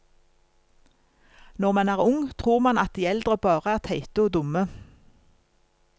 Når man er ung, tror man at de eldre bare er teite og dumme.